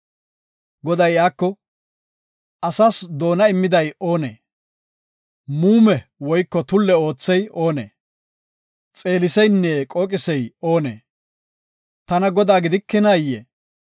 Goday iyako, “Asas doona immiday oonee? Muume woyko tulle oothey oonee? Xeeliseynne qooqisey oonee? Tana Godaa gidikinaayee?